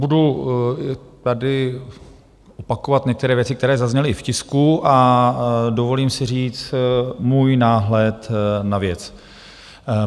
Budu tady opakovat některé věci, které zazněly i v tisku, a dovolím si říct můj náhled na věc.